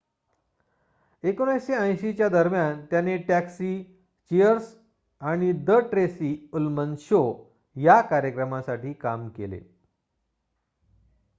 १९८० च्या दरम्यान त्याने टॅक्सी चिअर्स आणि द ट्रेसी उल्मन शो या कार्यक्रमासाठी काम केले